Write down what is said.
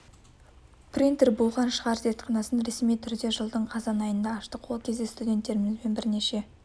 принтер болған шығар зертханасын ресми түрде жылдың қазан айында аштық ол кезде студенттерімізбен бірнеше